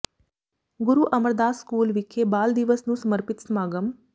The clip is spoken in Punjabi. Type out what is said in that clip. ਗੁਰੂ ਅਮਰਦਾਸ ਸਕੂਲ ਵਿਖੇ ਬਾਲ ਦਿਵਸ ਨੂੰ ਸਪਰਪਿਤ ਸਮਾਗਮ